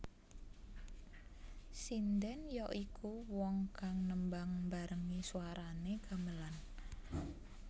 Sindhèn ya iku wong kang nembang mbarengi swaranè gamelan